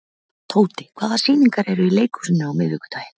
Tóti, hvaða sýningar eru í leikhúsinu á miðvikudaginn?